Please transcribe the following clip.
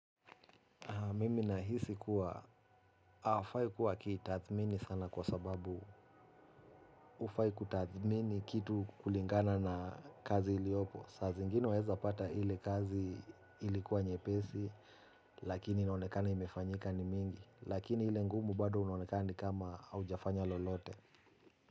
Mimi nahisi kuwa hawafai kuwa wakitathmini sana kwa sababu hufai kutathmini kitu kulingana na kazi iliyopo. Saa zingine waaeza pata ile kazi ilikuwa nyepesi lakini inonekana imefanyika ni mingi lakini ile ngumu bado unonekana ni kama haujafanya lolote.